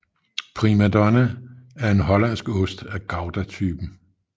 Prima Donna er en hollandsk ost af goudatypen